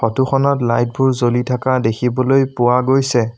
Photo খনত light বোৰ জ্বলি থাকা দেখিবলৈ পোৱা গৈছে।